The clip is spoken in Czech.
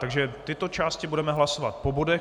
Takže tyto části budeme hlasovat po bodech.